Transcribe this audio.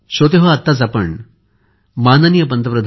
S